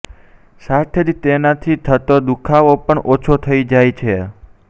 સાથે જ તેનાથી થતો દુઃખાવો પણ ઓછો થઈ જાય છે